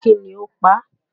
Kí ni ó pa á?